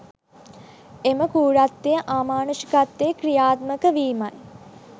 එම කෲරත්වය අමානුෂිකත්වය ක්‍රියාත්මක වීමයි